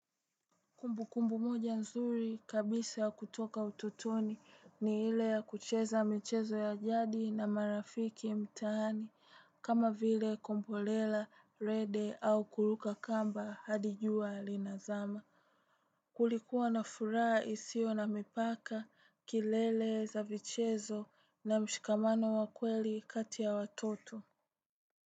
Kumbukumbu moja nzuri kabisa kutoka utotoni ni ile ya kucheza michezo ya jadi na marafiki mtaani, kama vile kombolela, rede au kuruka kamba hadi jua linazama. Kulikuwa na furaha isiyo na mipaka, kelele za michezo na mshikamano wa kweli kati ya watoto.